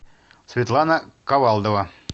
светлана ковалдова